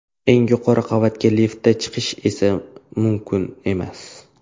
Eng yuqori qavatga liftda chiqish esa mumkin emas.